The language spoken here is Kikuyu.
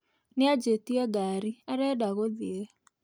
Nĩanjĩtie ngari, arenda gũthiĩ